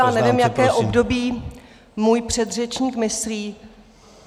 Já nevím, jaké období můj předřečník myslí.